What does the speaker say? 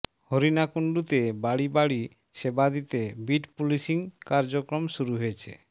হরিণাকুন্ডুতে বাড়ি বাড়ি সেবা দিতে বিট পুলিশিং কার্যক্রম শুরু হয়েছে